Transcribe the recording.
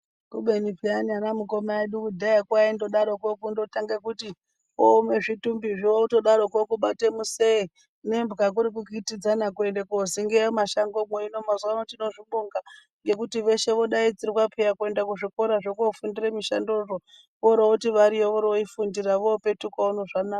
Kubeni peyani ana mukoma edu kudhayako aindodaroko kundotanga kuti omwe zvitumbizvo otodaroko kubate misee nemba kuri kuenda kokitidzana kuenda kodzingiya mumasango muno. Hino mazuva ano tinozvibonga ngekuti veshe vodaidzirwa peya kuenda kuzvikorazvo zvekofundira mishandozvo oro voti variyo oro vofundira vepetuka uno zvanaka.